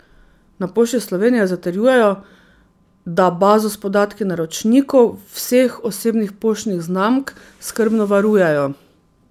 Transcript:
Na Pošti Slovenije zatrjujejo, da bazo s podatki naročnikov vseh osebnih poštnih znamk skrbno varujejo.